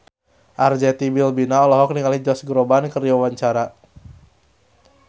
Arzetti Bilbina olohok ningali Josh Groban keur diwawancara